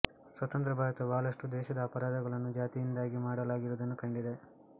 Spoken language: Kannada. ಸ್ವತಂತ್ರ ಭಾರತವು ಬಹಳಷ್ಟು ದ್ವೇಷದ ಅಪರಾಧಗಳನ್ನು ಜಾತಿಯಿಂದಾಗಿ ಮಾಡಲಾಗಿರುವುದನ್ನು ಕಂಡಿದೆ